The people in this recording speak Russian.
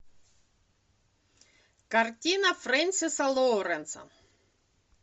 картина фрэнсиса лоуренса